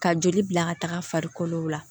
Ka joli bila ka taga farikolo la